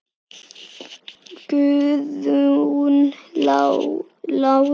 Guðrún Lára.